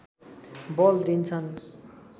बल दिन्छन्